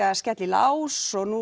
að skella í lás og nú